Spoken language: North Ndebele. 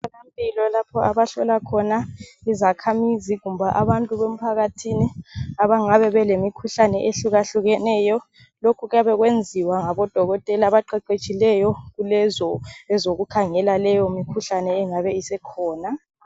Emtholampilo lapho abahlola khona izakhamizi kumbe abantu bemphakathini abangabe belemikhuhlane ehluka hlukeneyo lokhu kuyabe kwenziwa ngabodokotela abaqeqetshileyo kulezo ezokukhangela leyo mikhuhlane engabe isikhona.